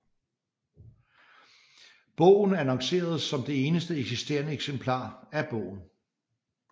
Bogen annonceredes som det eneste eksisterende eksemplar af bogen